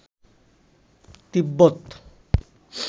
তিব্বত